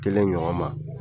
Kelen ɲɔgɔn ma